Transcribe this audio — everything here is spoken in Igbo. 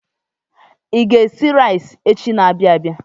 I ga-esi rais echi n'abia abịa.